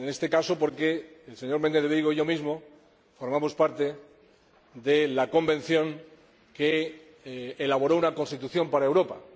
Es paradójico, en este caso, porque el señor Méndez de Vigo y yo mismo formamos parte de la Convención que elaboró una Constitución para Europa.